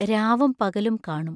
രാവും പകലും കാണും.